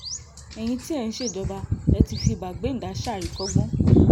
ẹ̀yin tí ẹ̀ ń ṣèjọba ẹ̀ fi ti bàgbéǹdà ṣàríkọ́gbọ́n